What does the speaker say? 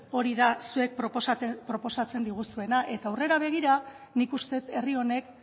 hori da zuek proposatzen diguzuena eta aurrera begira nik uste dut herri honek